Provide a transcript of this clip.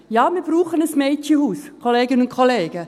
Ja, wir brauchen ein Mädchenhaus, Kolleginnen und Kollegen.